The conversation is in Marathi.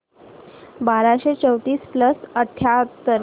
बाराशे चौतीस प्लस अठ्याहत्तर